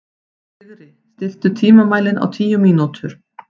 Sigri, stilltu tímamælinn á tíu mínútur.